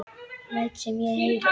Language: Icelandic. Læt sem ég heyri.